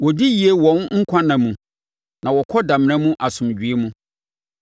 Wɔdi yie wɔn nkwanna mu na wɔkɔ damena mu asomdwoeɛ mu.